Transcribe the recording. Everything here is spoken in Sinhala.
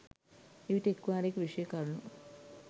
එවිට එක් වාරයක විෂයය කරුණු